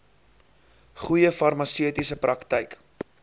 goeie farmaseutiese praktyk